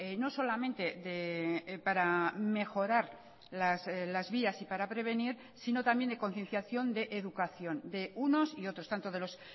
no solamente para mejorar las vías y para prevenir sino también de concienciación de educación de unos y otros tanto de los